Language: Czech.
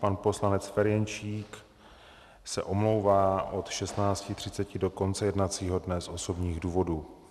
Pan poslanec Ferjenčík se omlouvá od 16.30 do konce jednacího dne z osobních důvodů.